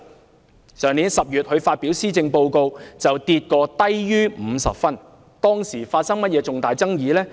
她於去年10月發表施政報告後，評分曾跌至低於50分，當時發生了甚麼重大爭議呢？